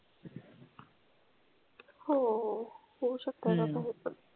हो हो होऊ शकतं ना हे पण.